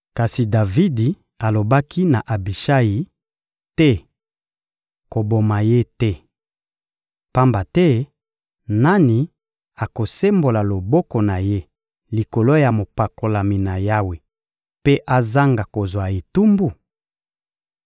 Kasi Davidi alobaki na Abishayi: — Te! Koboma ye te! Pamba te nani akosembola loboko na ye likolo ya mopakolami na Yawe mpe azanga kozwa etumbu?